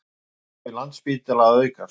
Umsvif Landspítala að aukast